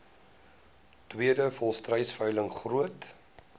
tweede volstruisveiling groot